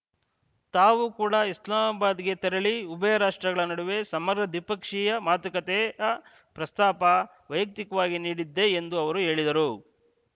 ತಾವು ಕೂಡ ಇಸ್ಲಾಮಾಬಾದ್‌ಗೆ ತೆರಳಿ ಉಭಯ ರಾಷ್ಟ್ರಗಳ ನಡುವೆ ಸಮರ ದ್ವಿಪಕ್ಷೀಯ ಮಾತುಕತೆಯ ಪ್ರಸ್ತಾಪ ವೈಯಕ್ತಿಕವಾಗಿ ನೀಡಿದ್ದೆ ಎಂದು ಅವರು ಹೇಳಿದರು